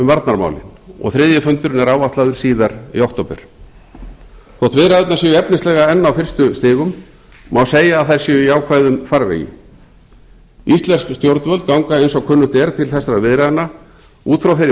varnarmálin og þriðji fundurinn er áætlaður síðar í október þótt viðræðurnar séu efnislega enn á fyrstu stigum má segja að það séu í ákveðnum farvegi íslensk stjórnvöld ganga sem kunnugt er til þessara viðræðna út frá þeirri